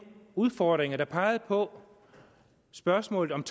udfordringer der pegede på spørgsmålet om